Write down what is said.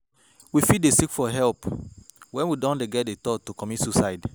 We fit seek for help when we don dey get di thought to commit suicide